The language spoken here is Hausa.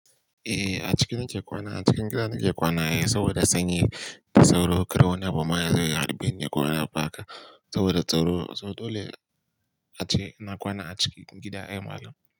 Eh, a ciki na ke kwana, a cikin gida na ke kwana ai, saboda sanyi. Sauro, kara wani abu ma ya zo ya harbeni ko wani abu haka. Saboda tsaro, so dole ace na kwana a cikin gida ai malam.